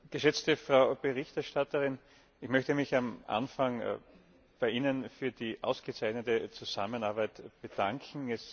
Geschätzte Frau Berichterstatterin, ich möchte mich am Anfang bei Ihnen für die ausgezeichnete Zusammenarbeit bedanken.